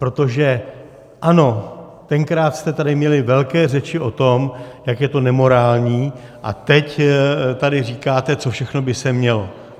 Protože ano, tenkrát jste tady měli velké řeči o tom, jak je to nemorální, a teď tady říkáte, co všechno by se mělo.